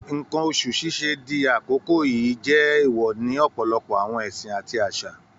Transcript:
Nǹkan oṣù ṣíṣe di àkókò yìí jẹ́ èèwọ̀ ní ọ̀pọ̀lọpọ̀ àwọn ẹ̀sìn àti àṣà